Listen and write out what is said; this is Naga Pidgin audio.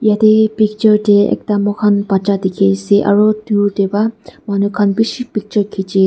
yatae picture ekta moikhan bacha dikhiase aru dur tae pa manu khan bishi picture khichi.